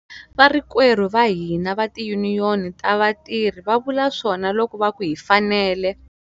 Varikwerhu va hina va tiyuniyoni ta vatirhi va vula swona loko va ku hi fanele.